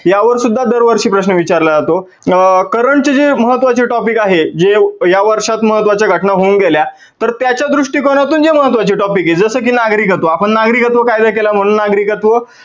यावर सुद्धा दर वर्षी प्रश्न विचारला जातो. current चे जे महत्वाचे topic आहे जे या वर्षात महत्वाच्या घटना होऊन गेल्या तर त्याच्या दृष्टीकोनातून जे महत्वाचे topic आहेत. जसं की नागरिकत्वन, आपण नागरिकत्व कायदा केला म्हणून नागरिकत्व